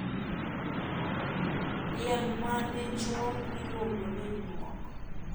Diel madichuo iluongo ni nyuok.